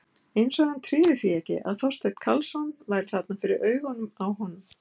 Eins og hann tryði því ekki að Þorsteinn Karlsson væri þarna fyrir augunum á honum.